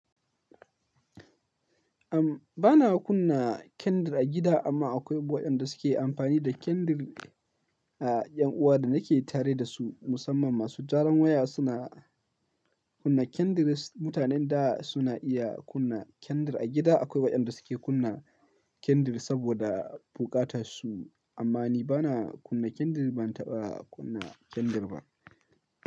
Am, bana kunna kendr a gida amma akwai waɗanda suke amfani da kendr. A yan uwa da nake tare da su musamman masu gyaran waya suna kunna kendr. Mutanen da suna iya kunna kendr a gida akwai waɗanda suke kunna kendr saboda bukata su amma ni bana kunna kendr, ban taɓa kunna kendr ba.